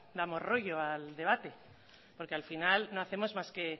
damos rollo al debate porque la final no hacemos más que